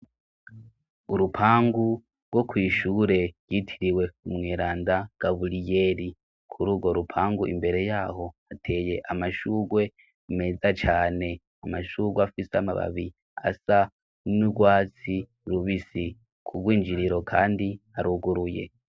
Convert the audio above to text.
Urupangu rwo kwishure ryitiriwe umweranda Gaburiyeri. Kuri urwo rupangu imbere yaho hateye amashurwe meza cane, amashurwe afise amababi asa n'urwatsi rubisi. Ku bwinjiriro kandi haruguruye.